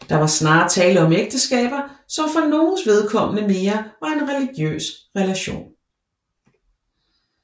Der var snarere tale om ægteskaber som for nogens vedkommende mere var en religiøs relation